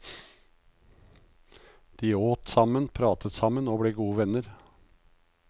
De åt sammen, pratet sammen og ble gode venner.